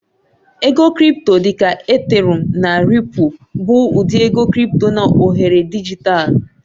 Ego Crị́pto dị ka Ethereụ́m na Ripụ́l bụ ụdị ego crị́pto na oghere dijitalụ.